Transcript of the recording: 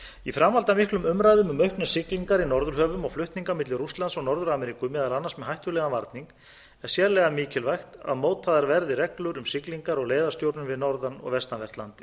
í framhaldi af miklum umræðum um auknar siglingar í norðurhöfum og flutninga milli rússlands og norður ameríku meðal annars með hættulegan varning er sérlega mikilvægt að mótaðar verði reglur um siglingar og leiðastjórnun við norðan og vestanvert landið